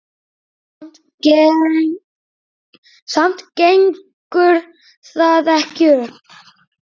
Samt gengur það ekki upp.